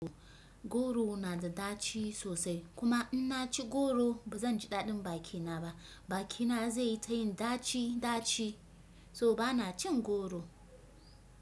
Goro na da ɗaci sosai kuma in na ci goro ba zan ji daɗin bakina ba, bakina zai yi ta yin ɗaci ɗaci, so ba na cin goro.